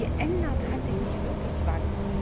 Geändert hat sich nicht wirklich etwas.